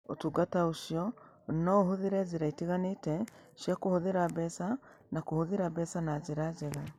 Ũtungata ũcio no ũhũthĩre njĩra itiganĩte cia kũhũthĩra mbeca na kũhũthĩra mbeca na njĩra njega.